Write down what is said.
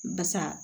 Basa